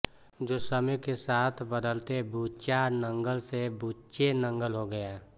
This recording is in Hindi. जो समय के साथ बदलते बुचा नंगल से बुचे नंगल हो गया